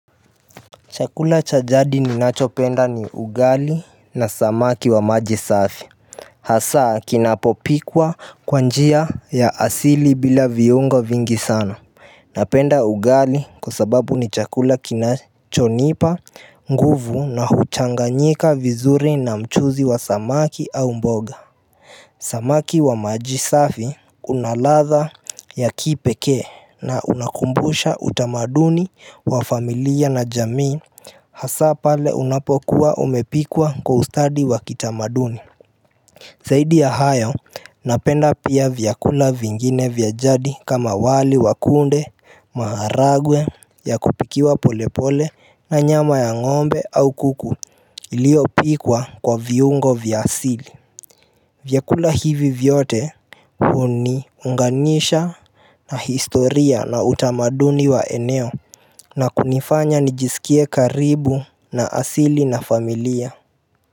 Chakula cha jadi ninachopenda ni ugali na samaki wa maji safi hasa kinapopikwa kwa njia ya asili bila viungo vingi sana Napenda ugali kwa sababu ni chakula kinachonipa nguvu na huchanganyika vizuri na mchuzi wa samaki au mboga Samaki wa majisafi unaladha ya kipekee na unakumbusha utamaduni wa familia na jamii hasa pale unapokuwa umepikwa kwa ustadi wa kitamaduni Zaidi ya hayo napenda pia vyakula vingine vya jadi kama wali wa kunde, maharagwe ya kupikiwa polepole na nyama ya ngombe au kuku iliopikwa kwa viungo vya asili vyakula hivi vyote huniunganisha na historia na utamaduni wa eneo na kunifanya nijisikie karibu na asili na familia.